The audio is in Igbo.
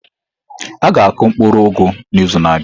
A ga-akụ mkpuru ugu n'izu na-abịa.